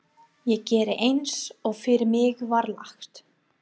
Ég gerði eins og fyrir mig var lagt.